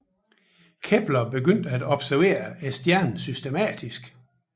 Kepler begyndte at observere stjernen systematisk